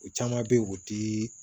O caman be ye o ti